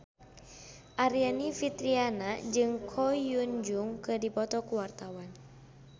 Aryani Fitriana jeung Ko Hyun Jung keur dipoto ku wartawan